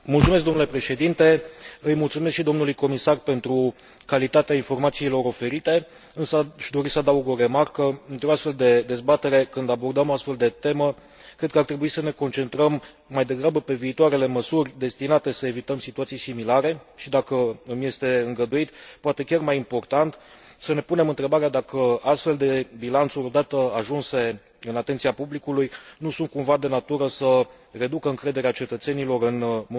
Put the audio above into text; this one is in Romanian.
Îi mulțumesc și dlui comisar pentru calitatea informațiilor oferite, însă aș dori să adaug o remarcă într o astfel de dezbatere, când abordăm o astfel de temă, cred că ar trebui să ne concentrăm mai degrabă pe viitoarele măsuri destinate să evităm situații similare și, dacă îmi este îngăduit, poate chiar mai important, să ne punem întrebarea dacă astfel de bilanțuri, odată ajunse în atenția publicului, nu sunt cumva de natură să reducă încrederea cetățenilor în munca instituțiilor europene.